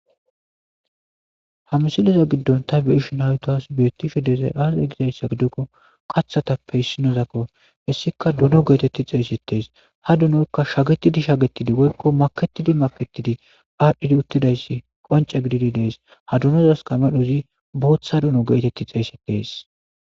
Hamsiliza giddon ta beishu n awutoas biyottifi dezay aaze gizayssa giddukko qathatappe hissinozakko hessika duno geetetti xeeysetees ha dunoykka shagetidi shagettidi woykko maketidi maketidi aadhdhidi uttidayssi qonce gididi dees ha dunozas kamedhozi booththa duno geetetti xeeysetees